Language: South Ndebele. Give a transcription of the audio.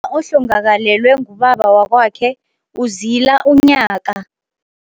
Ohlongakalelwe ngubaba wakwakhe uzila unyaka.